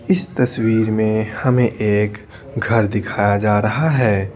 इस तस्वीर में हमें एक घर दिखाया जा रहा है।